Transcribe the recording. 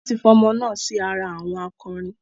Wọn tí fi ọmọ náà sì ara àwọn akọrin